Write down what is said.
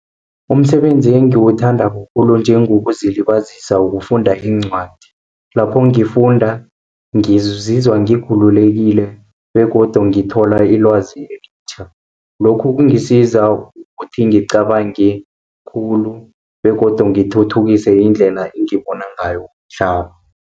Umsebenzi engiwuthandako khulu njengewokuzilibazisa ukufunda iincwadi. Lapho ngizizwa ngikhululekile, begodu ngithola ilwazi elitjha. Lokhu kungisiza ukuthi angicabange khulu, begodu ngithuthukise indlela engibona ngayo umhlaba.